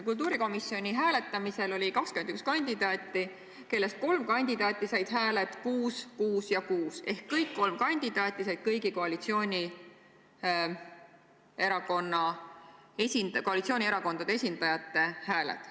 Kultuurikomisjonis oli hääletamisel 21 kandidaati, kellest kolm kandidaati said hääled 6, 6 ja 6 ehk kõik kolm kandidaati said kõigi koalitsioonierakondade esindajate hääled.